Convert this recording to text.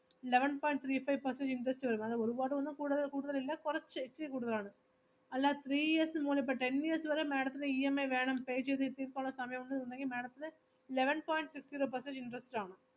eleven point three five percent interest വരും, അങ്ങനെ ഒരുപാട് ഒന്നും കൂടു~ കൂടുതൽ ഇല്ല, കുറച്ച് ഇച്ചിരി കൂടുതൽ ആണ്. അല്ലാ three years എന്ന് പറഞ്ഞാ ഇപ്പോ ten years വരെ madam ത്തിന് EMI വേണം, pay ചെയ്തു തീർക്കാൻ ഉള്ള സമയം ഒന്നും ഇല്ലെങ്കിൽ madam ത്തിന് eleven point six zero percent interest ആണ്.